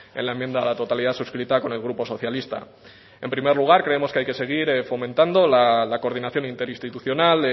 en la enmienda a la totalidad suscrita con el grupo socialista en primer lugar creemos que hay que seguir fomentando la coordinación interinstitucional